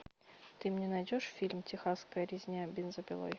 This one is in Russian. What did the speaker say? ты мне найдешь фильм техасская резня бензопилой